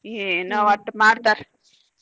ಏನೊ ಒಟ್ಟ್ ಮಾಡ್ತಾರ್.